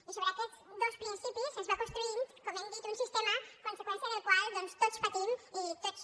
i sobre aquests dos principis es va construint com hem dit un sistema conseqüència del qual doncs tots patim i tots